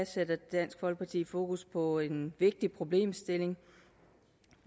sætter dansk folkeparti fokus på en vigtig problemstilling